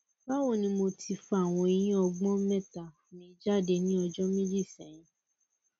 bawo ni mo ti fa awon eyin ogbon meta mi jade ni ojo meji sehin